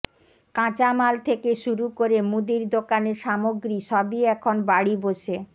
কাঁচামাল থেকে শুরু করে মুদির দোকানের সামগ্রী সবই এখন বাড়ি বসে